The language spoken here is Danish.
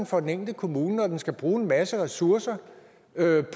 for den enkelte kommune når den skal bruge en masse ressourcer